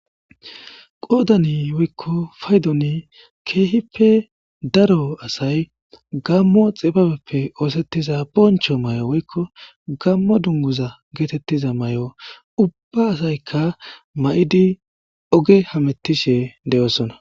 qoodani woykko paydoni keehippe daro asay gammo xibabeppe oosettiza boncho may7o woykko gammo dunguza geetettiza may7o ubba asaykka ma7idi oge hametishe de7oosona